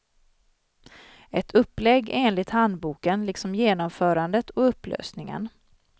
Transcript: Ett upplägg enligt handboken, liksom genomförandet och upplösningen.